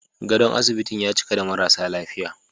Gadon asibitin ya cika da marasa lafiya